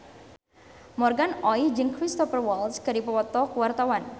Morgan Oey jeung Cristhoper Waltz keur dipoto ku wartawan